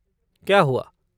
क्या हुआ?